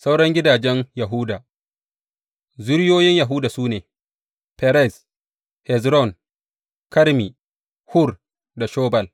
Sauran gidajen Yahuda Zuriyoyin Yahuda su ne, Ferez, Hezron, Karmi, Hur da Shobal.